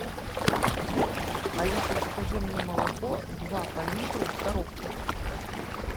алиса закажи мне молоко два по литру в коробках